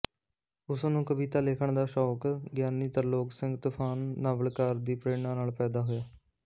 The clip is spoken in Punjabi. ਉਸਨੂੰ ਕਵਿਤਾ ਲਿਖਣ ਦਾ ਸ਼ੌਕ ਗਿਆਨੀ ਤਰਲੋਕ ਸਿੰਘ ਤੂਫਾਨ ਨਾਵਲਕਾਰ ਦੀ ਪ੍ਰੇਰਨਾ ਨਾਲ ਪੈਦਾ ਹੋਇਆ